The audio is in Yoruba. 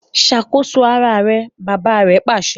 Ṣakoso àrà rẹ! bàbà rè pàṣẹ